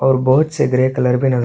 और बहुत से ग्रे कलर भी नज़र--